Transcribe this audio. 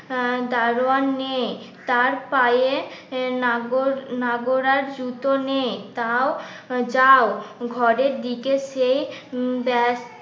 দারোয়ান নেই তার পায়ে নাগর নাগর আর জুতো নেই তাও যাও. ঘরের দিকে সেই